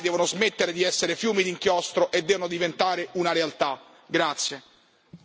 Le clausole dei diritti umani devono smettere di essere fiumi di inchiostro e devono diventare una realtà.